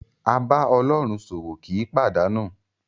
A bá Ọlọ́run ṣòwò kì í pàdánù.